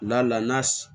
La la n'a s